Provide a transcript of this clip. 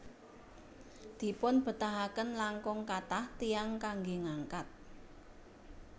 Dipunbetahaken langkung kathah tiyang kanggé ngangkat